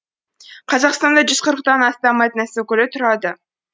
қазақстанда жүз қырықтан астам этнос өкілі тұрады